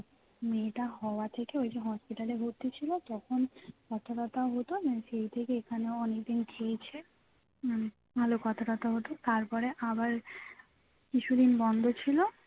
মেয়েটা হওয়া থেকে ওইযে hospital এ ভর্তি ছিল তখন কথা টথা হতো না সেই থেকে এখানে অনেকদিন খেয়েছে মানে ভালো কথা টথা হতো তারপরে আবার কিছুদিন বন্ধ ছিল